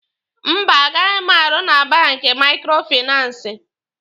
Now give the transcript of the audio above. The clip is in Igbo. Mba, agaghi m arụ na banki maikrofinansi.